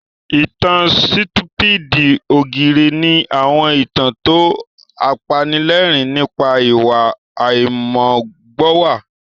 Ìtàn Sítúpídì ògìrè ni àwọn ìtàn tó apanilẹ́rìn nípa ìwà àìmọ́gbọ́nwá